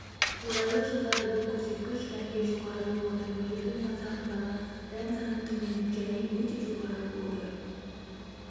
қолайлы жылдары бұл көрсеткіш дәнге жоғары болған үлгілердің масағындағы дән саны төмен және өте жоғары болды